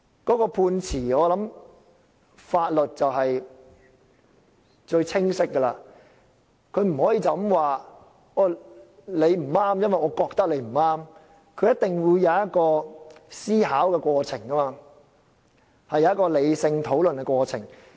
我想法律是最清晰的，它不可以說你不對，是因為它覺得你不對，而是一定會有一個思考、理性討論的過程。